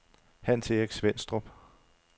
Hans-Erik Svenstrup